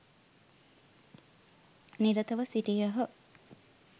නිරතව සිටියහ.